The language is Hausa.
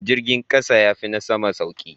Jirgin kasa yafi na sama sauki.